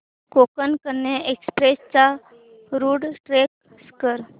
Konkan Kanya express चा route track कर